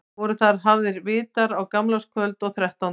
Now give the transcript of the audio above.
Voru þar hafðir vitar á gamlárskvöld og þrettánda.